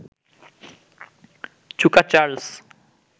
চুকা চার্লস